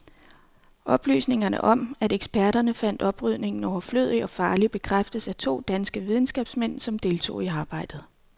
Oplysningerne om, at eksperterne fandt oprydningen overflødig og farlig, bekræftes af to danske videnskabsmænd, som deltog i arbejdet.